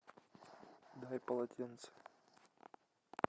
дай полотенце